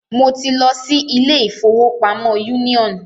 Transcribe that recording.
Mo ti lọ si ilé ìfọwọ́pamo Union.